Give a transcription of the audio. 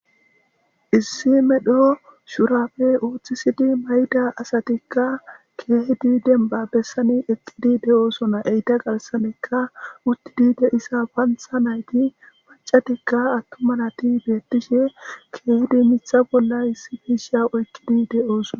Issi medho shurabe oothisidi mayida asatika keehide dembba bessan eqqidi de7oosona,eta garssan uttidi de7iza paantha naytti maccatika atuma nasti beetishe keehidi miththa bolla issipe de7ish beetoosona.